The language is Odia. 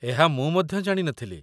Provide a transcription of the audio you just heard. ଏହା ମୁଁ ମଧ୍ୟ ଜାଣି ନଥିଲି